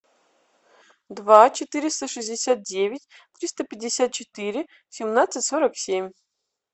два четыреста шестьдесят девять триста пятьдесят четыре семнадцать сорок семь